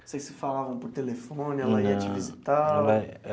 Vocês se falavam por telefone. Não. Ela ia te visitar?